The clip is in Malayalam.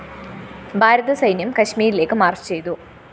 ഭാരത സൈന്യം കശ്മീരിലേക്ക് മാർച്ച്‌ ചെയ്തു